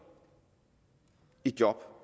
jo